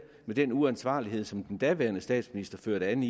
med den uansvarlighed som den daværende statsminister førte an